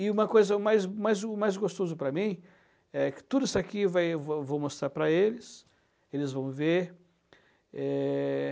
E uma coisa mais, mas o mais gostoso para mim é que tudo isso aqui vai eu vou eu vou mostrar para eles, eles vão ver. Eh...